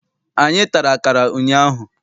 Anyị tara akara ụnyaahụ.